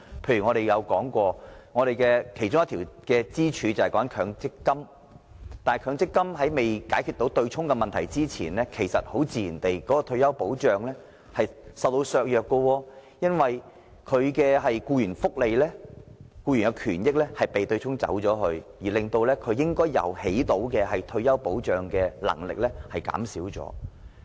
例如，我們曾經提出的其中一根支柱——強積金，但在強積金對沖問題獲得解決前，退休保障自然會被削弱，因為僱員權益會因為對沖而受損，以致強積金發揮的退休保障功能被削弱。